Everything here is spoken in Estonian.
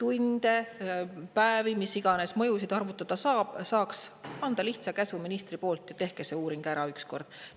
tunde ja päevi ning mis iganes mõjusid arvutada saab, saaks anda lihtsa käsu ministri kaudu, et tehke see uuring ükskord ära.